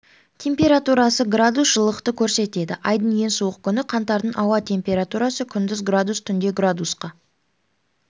температурасы градус жылылықты көрсетеді айдың ең суық күні қаңтардың ауа температурасы күндіз градус түнде градусқа